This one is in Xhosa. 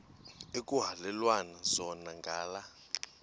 ekuhhalelwana zona ngala